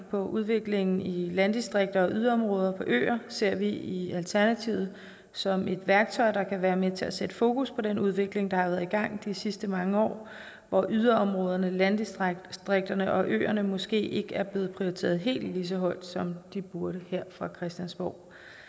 på udviklingen i landdistrikter i yderområder og på øer ser vi i alternativet som et værktøj der kan være med til at sætte fokus på den udvikling der har været i gang de sidste mange år hvor yderområderne landdistrikterne og øerne måske ikke er blevet prioriteret helt lige så højt som de burde her fra christiansborgs